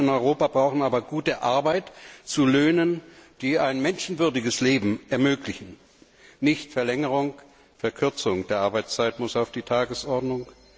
Die Menschen in Europa brauchen aber gute Arbeit zu Löhnen, die ein menschenwürdiges Leben ermöglichen. Nicht Verlängerung, Verkürzung der Arbeitszeit muss auf die Tagesordnung!